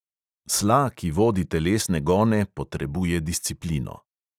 Sla, ki vodi telesne gone, potrebuje disciplino.